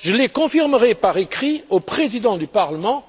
Je les confirmerai par écrit aux présidents du Parlement